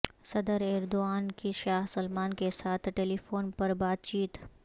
صدر ایردوان کی Shah Salman کیساتھ ٹیلیفون پربات چیت